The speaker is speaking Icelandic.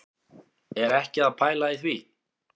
Er ekki að pæla í því,